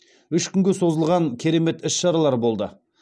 үш күнге созылған керемет іс шаралар болды